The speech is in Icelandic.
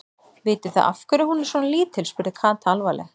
Vitið þið af hverju hún er svona lítil? spurði Kata alvarleg.